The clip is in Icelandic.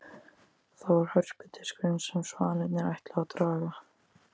Það var hörpudiskurinn sem svanirnir ætluðu að draga.